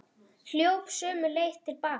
Hljóp sömu leið til baka.